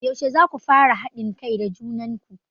Yaushe zaku fara haɗin kai da junan ku?